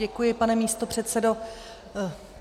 Děkuji, pane místopředsedo.